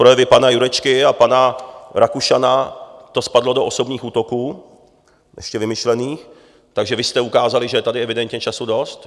Projevy pana Jurečky a pana Rakušana to spadlo do osobních útoků, ještě vymyšlených, takže vy jste ukázali, že je tady evidentně času dost.